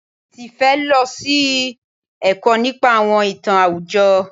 Tifẹ́ lọ sí ẹ̀kọ́ nípa àwọn ìtàn àwùjọ.